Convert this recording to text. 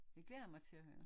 Det glæder jeg mig til at høre